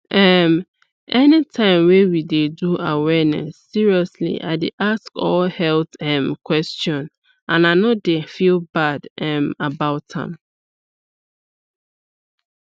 umanytime wey we dey do awareness seriously i dey ask all health um question and i no dey feel bad um about am